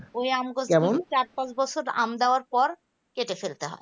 ওই আমগাছ গুলো চার পাঁচ বছর আম দেওয়ার পর কেটে ফেলতে হবে